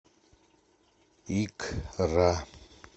икра